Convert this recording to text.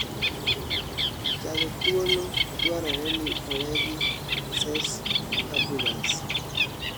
jazo thuolo dwaroreni owee gi Cesc Fabregas